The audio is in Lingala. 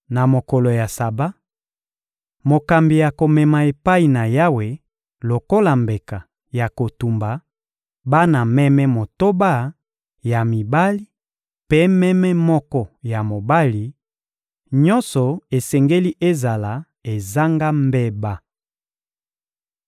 Na mokolo ya Saba, mokambi akomema epai na Yawe lokola mbeka ya kotumba bana meme motoba ya mibali mpe meme moko ya mobali: nyonso esengeli ezala ezanga mbeba.